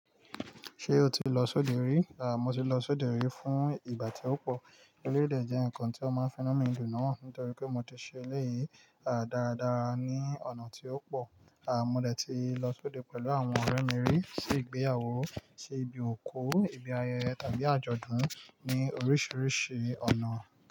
Ṣé o ti lọ sóde rí? Mo ti lọ sóde rí fún ìgbà tí ó pọ̀. Eléyìí dẹ jẹ́ nǹkan tí ó máa ń finu mi dùn náà nítorí pé mo ti ṣe eléyìí, dáradára ní ọ̀nà tí ó pọ̀. Mo dẹ ti lọ s'óde pẹ̀lú àwọn ọ̀rẹ́ mi rí, sí ìgbéyàwó, sí ibi òkú, ibi ayẹyẹ tàbí àjọ̀dún ní oríṣiríṣi ọ̀nà.